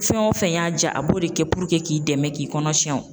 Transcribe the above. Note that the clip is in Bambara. Fɛn wo fɛn y'a ja, a b'o de kɛ k'i dɛmɛ k'i kɔnɔ tiɲɛ o.